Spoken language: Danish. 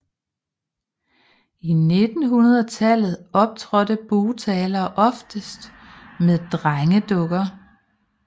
I 1900 tallet optrådte bugtalere oftest med drengedukker